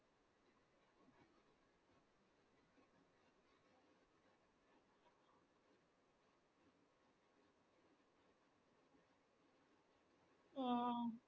ആഹ്